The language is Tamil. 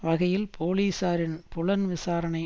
வகையில் போலீசாரின் புலன்விசாரணை